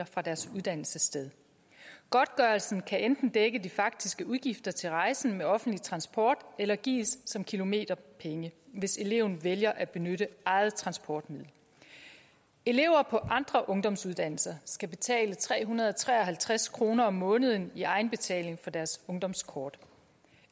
fra deres uddannelsessted godtgørelsen kan enten dække de faktiske udgifter til rejsen med offentlig transport eller gives som kilometerpenge hvis eleven vælger at benytte eget transportmiddel elever på andre ungdomsuddannelser skal betale tre hundrede og tre og halvtreds kroner om måneden i egenbetaling for deres ungdomskort